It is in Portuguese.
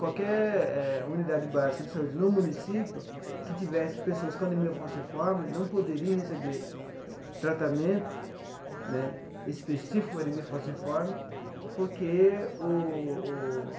Qualquer eh unidade básica de saúde no município que tivesse pessoas com anemia falciforme não poderia receber tratamento né específico para anemia falciforme porque o